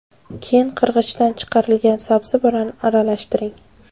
Keyin qirg‘ichdan chiqarilgan sabzi bilan aralashtiring.